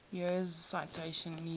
years citation needed